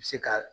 Se ka